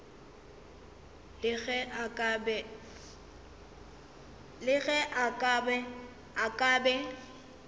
le ge a ka be